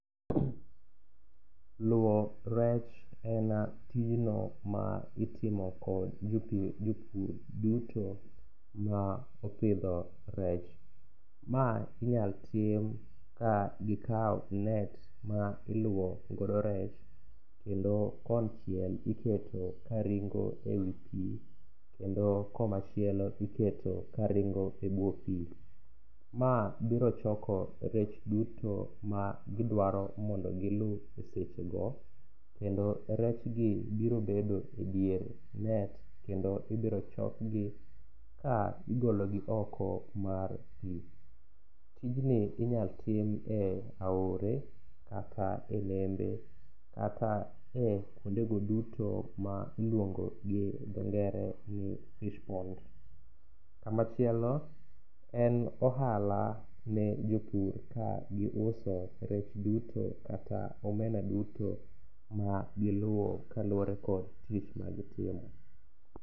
Luwo rech en tijno ma itimo kod jopur duto ma opidho rech. Ma inyalo tim ka gikawo net ma iluwo godo rech kendo konchiel iketo ka ringo e wi pi, kendo komachielo iketo karingo e bwo pi. Ma biro choko rech duto ma gidwaro mondo giluw e sechego, kendo rechgi biro bedo e dier net kendo ibiro chokgi ka igologi oko mar pi. Tijni inyalo tim e aore kata e nembe, kata e kwondego duto ma iluongo gi dhongere ni fish pond. Kamachielo en ohala ne jopur ka giuso rech duto kata omena duto ma giluwo kaluwore kod tich magitimo.